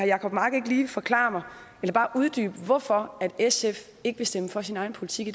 jacob mark ikke lige forklare mig eller bare uddybe hvorfor sf ikke vil stemme for sin egen politik i